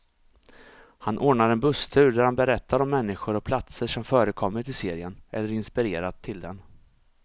Han ordnar en busstur där han berättar om människor och platser som förekommit i serien, eller inspirerat till den.